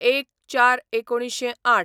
०१/०४/१९०८